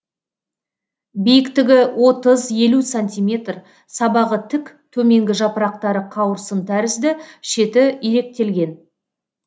биіктігі отыз елу сантиметр сабағы тік төменгі жапырақтары қауырсын тәрізді шеті иректелген